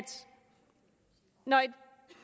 når